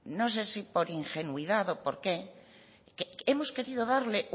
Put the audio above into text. no sé si por ingenuidad o por qué hemos querido darle